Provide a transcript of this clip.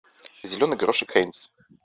зеленый горошек хайнц